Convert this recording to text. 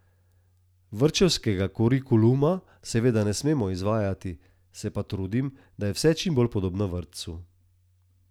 Vrtčevskega kurikuluma seveda ne smem izvajati, se pa trudim, da je vse čim bolj podobno vrtcu.